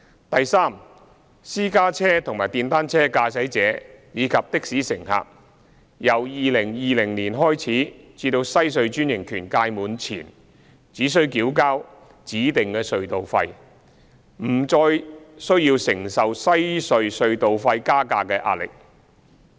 第三，私家車和電單車駕駛者，以及的士乘客，由2020年開始至西區海底隧道專營權屆滿前，只須繳付指定隧道費，不用再承受西隧隧道費加價的壓力。